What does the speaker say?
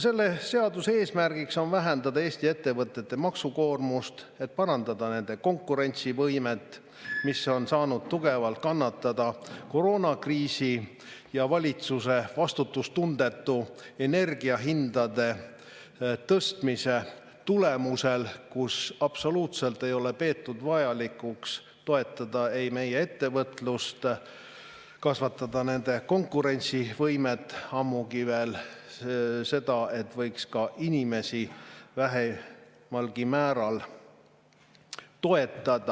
Selle seaduse eesmärk on vähendada Eesti ettevõtete maksukoormust, et parandada nende konkurentsivõimet, mis on saanud tugevalt kannatada koroonakriisi ja valitsuse vastutustundetu energiahindade tõstmise tulemusel, kusjuures absoluutselt ei ole peetud vajalikuks toetada ei meie ettevõtlust ega kasvatada ettevõtete konkurentsivõimet, ammugi veel seda, et võiks ka inimesi vähemalgi määral toetada.